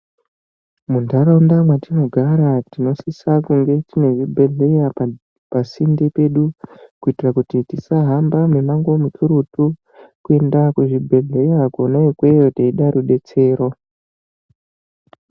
Muntaraunda mwatinogara tinosisa kunge tine zvibhedhleya pasinde pedu kuitira kuti tisahamba mumango mukurutu kuenda kuzvibhedhleya kona ukoko teida rubetsero.